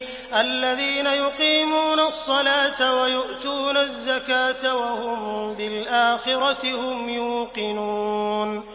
الَّذِينَ يُقِيمُونَ الصَّلَاةَ وَيُؤْتُونَ الزَّكَاةَ وَهُم بِالْآخِرَةِ هُمْ يُوقِنُونَ